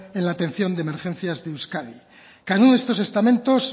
en la atención de emergencias de euskadi cada uno de estos estamentos